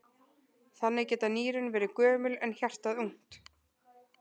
Þannig geta nýrun verið gömul en hjartað ungt!